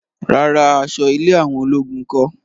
Rárá, aṣọ ilé àwọn ológun kọ́